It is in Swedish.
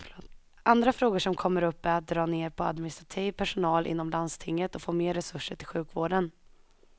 Andra frågor som kommer upp är att dra ner på administrativ personal inom landstinget och få mer resurser till sjukvården.